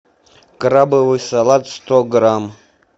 крабовый салат сто грамм